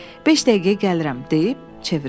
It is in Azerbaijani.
Beş dəqiqəyə gəlirəm deyib çevrildim.